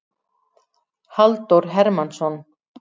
Halldór Hermannsson.